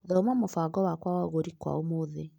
Thoma mũbango wakwa wa ũgũri kwa ũmũthĩ .